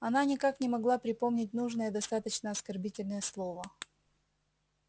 она никак не могла припомнить нужное достаточно оскорбительное слово